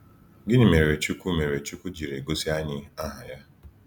Gịnị mere Chukwu mere Chukwu jiri gosi anyị aha Ya?